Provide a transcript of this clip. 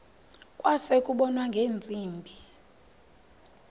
kwase kubonwa ngeentsimbi